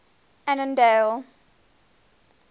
annandale